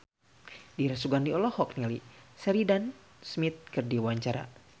Dira Sugandi olohok ningali Sheridan Smith keur diwawancara